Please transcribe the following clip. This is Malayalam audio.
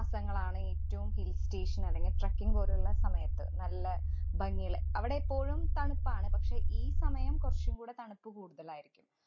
ആ മാസങ്ങളാണ് ഏറ്റവും hill station അല്ലെങ്കി trekking പോലുള്ള സമയത്ത് നല്ല ഭംഗിയുള്ള അവിടെ എപ്പോഴും തണുപ്പാണ്. പക്ഷേ, ഈ സമയം കൊറച്ചും കൂടെ തണുപ്പ് കൂടുതലായിരിക്കും.